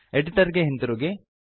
editor ಗೆ ಹಿಂತಿರುಗಿ